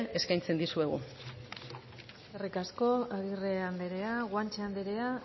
eskaintzen dizuegu eskerrik asko agirre andrea guanche andrea